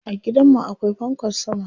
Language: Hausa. A gidan mu akwai fankar sama.